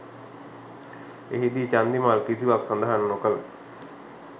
එහිදී චන්දිමාල් කිසිවක්‌ සඳහන් නොකළ